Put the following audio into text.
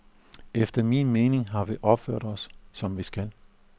Efter min mening har vi opført os, som vi skal.